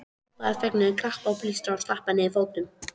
Hrópa af fögnuði, klappa, blístra og stappa niður fótunum!